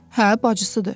Hə, bacısıdır.